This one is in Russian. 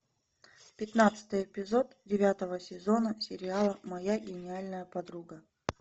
пятнадцатый эпизод девятого сезона сериала моя гениальная подруга